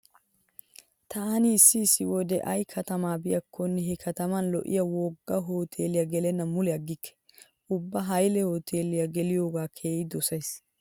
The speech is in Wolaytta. Taani issi issi wode ay katama biikkonne he kataman lo'iya wogga hoteeliya gelennan mule aggikke. Ubba hayle hoteeliya geliyogaa keehi dosays.